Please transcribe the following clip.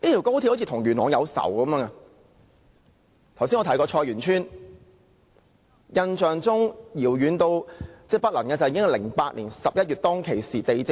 剛才我提及的菜園村事件，印象十分遙遠，應該是2008年11月發生的事。